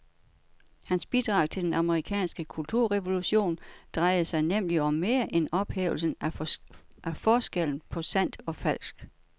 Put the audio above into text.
Hans bidrag til den amerikanske kulturrevolution drejede sig nemlig om mere end ophævelsen af forskellen på sandt og falsk.